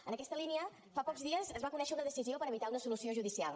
en aquesta línia fa pocs dies es va conèixer una decisió per evitar una solució judicial